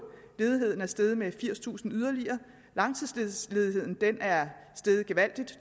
ledigheden er steget med yderligere firstusind langtidsledigheden er steget gevaldigt